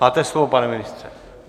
Máte slovo, pane ministře.